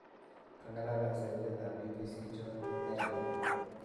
kangalal ak sirindet ap BBC John Nene